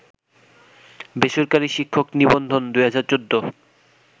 বেসরকারি শিক্ষক নিবন্ধন ২০১৪